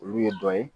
Olu ye dɔ ye